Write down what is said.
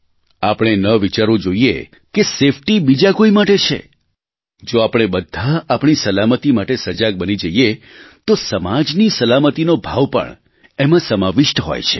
આપણે ન વિચારવું જોઇએ કે સેફ્ટી બીજા કોઇ માટે છે જો આપણે બધા આપણી સલામતી માટે સજાગ બની જઇએ તો સમાજની સલામતીનો ભાવ પણએમાં સમાવિષ્ટ હોય છે